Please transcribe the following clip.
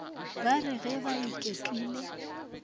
ba re ge ba iketlile